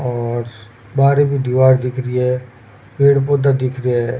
और बार की दीवार दिख रही है पेड़ पौधा दिख रा है।